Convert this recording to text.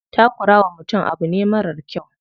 Takura wa mutum abu ne marar kyau.